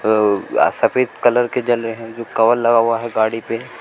अ आ सफेद कलर के जल रहे हैं जो कवर लगा हुआ है गाड़ी पे--